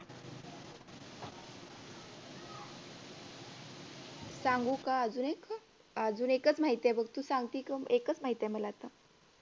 सांगू का अजून एक अह एकच माहिती आहे मला तू सांगती तो एकच माहिती आहे मला